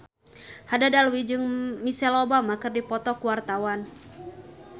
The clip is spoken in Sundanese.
Haddad Alwi jeung Michelle Obama keur dipoto ku wartawan